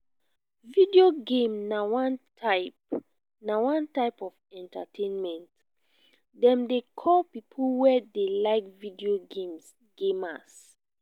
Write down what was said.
video game na one type na one type of entertainment dem dey call people wey dey like video games gamers